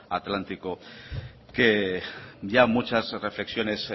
atlántico que ya muchas reflexiones